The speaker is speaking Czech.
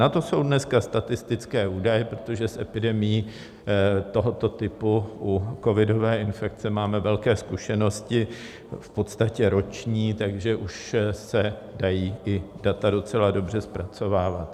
Na to jsou dneska statistické údaje, protože s epidemií tohoto typu u covidové infekce máme velké zkušenosti, v podstatě roční, takže už se dají i data docela dobře zpracovávat.